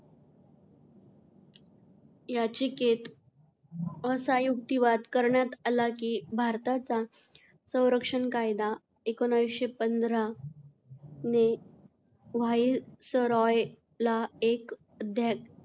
याचिकेत असा युक्तिवाद करण्यात आला की भारताचा संरक्षण कायदा एकोणीसशे पंधरा ने व्हाईसरॉयला एक अध्या,